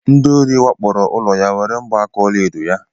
Ndịori wakporo ụlọ ya were mgba aka ọlaedo ya.